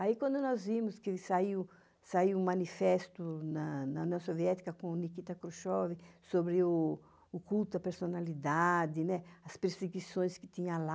Aí quando nós vimos que saiu um manifesto na União Soviética com Nikita Khrushchev sobre o culto à personalidade, as perseguições que tinha lá,